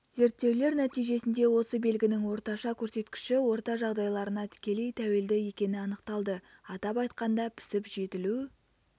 зерттеулер нәтижесінде осы белгінің орташа көрсеткіші орта жағдайларына тікелей тәуелді екені анықталды атап айтқанда пісіп-жетілу